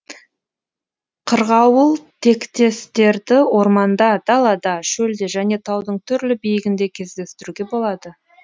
қырғауылтектестерді орманда далада шөлде және таудың түрлі биігінде кездестіруге болады